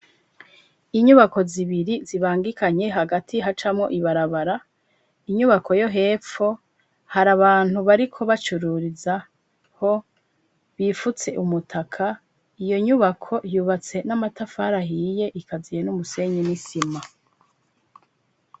Inyubako zibiri zibangikanye hagati hacamo ibarabara, inyubako yo hepfo hari abantu bariko bacururiza ho bifutse umutaka iyo nyubako yubatse n'amatafari ahiye ikaziye n'umusenyi n'isima.